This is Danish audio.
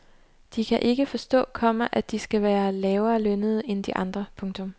De kan ikke forstå, komma at de skal være lavere lønnede end de andre. punktum